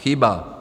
Chyba.